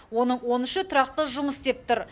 оның он үші тұрақты жұмыс істеп тұр